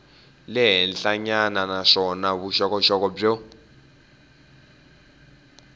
le henhlanyana naswona vuxokoxoko byo